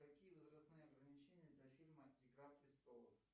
какие возрастные ограничения для фильма игра престолов